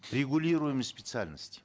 регулируемые специальности